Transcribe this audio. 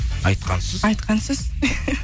айтқансыз айтқансыз